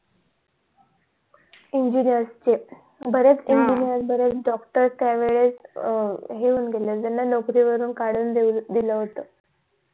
engineer चे बऱ्याच engineer बऱ्याच doctor त्या वेळेस हे होऊन गेले होते त्यांना नोकरी वरून कडून दिल होत